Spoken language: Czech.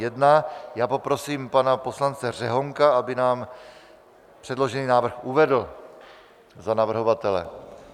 Já poprosím pana poslance Řehounka, aby nám předložený návrh uvedl za navrhovatele.